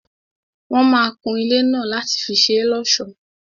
Wọ́n máa kun ilé náà láti fi ṣé l'ọ́sọ̀.